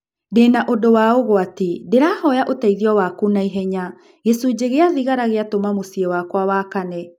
Ndĩna ũndũ wa ũgwati, ndĩrahoya ũteithio waku na ihenya. Gĩcunjĩ gĩa thigara gĩatũma mũciĩ wakwa wakane.